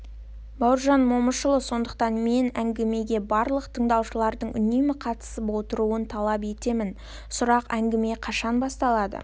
бауыржан момышұлы сондықтан мен әңгімеге барлық тыңдаушылардың үнемі қатысып отыруын талап етемін сұрақ әңгіме қашан басталады